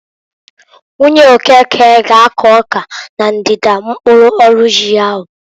Nwunye Okeke ga akụ ọka na ndida mkpụrụ ọrụ ji ahu.